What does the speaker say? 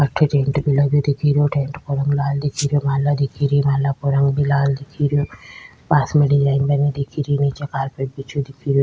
अठे टेंट भी लगे दिखे रेहो टेंट का रंग लाल दिखे रेहो माला दिखे री माला को रंग भी लाल दिखे रियो पास में डिजाइन बनी दिखे री नीचे कार्पेट बिछयो दिखे रो।